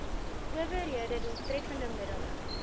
owerhede doeltreffende middele